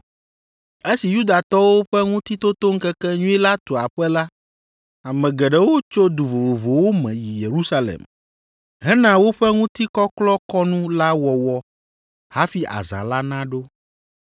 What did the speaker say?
Esi Yudatɔwo ƒe Ŋutitotoŋkekenyui la tu aƒe la, ame geɖewo tso du vovovowo me yi Yerusalem hena woƒe ŋutikɔklɔkɔnu la wɔwɔ hafi azã la naɖo.